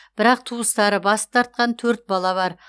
бірақ туыстары бас тартқан төрт бала бар